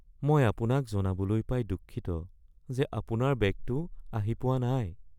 মই আপোনাক জনাবলৈ পাই দুখিত যে আপোনাৰ বেগটো আহি পোৱা নাই